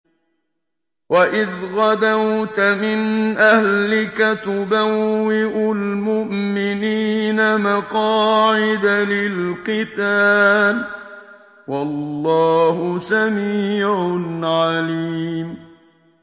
وَإِذْ غَدَوْتَ مِنْ أَهْلِكَ تُبَوِّئُ الْمُؤْمِنِينَ مَقَاعِدَ لِلْقِتَالِ ۗ وَاللَّهُ سَمِيعٌ عَلِيمٌ